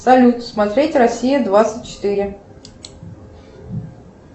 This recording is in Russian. салют смотреть россия двадцать четыре